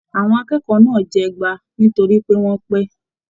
Àwọn akẹ́kọ̀ọ́ náà jẹ ẹgba nitori pe wọn pé.